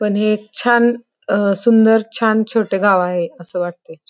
पन हे एक छान अ सुंदर छान छोट गाव आहे. अस वाटतय.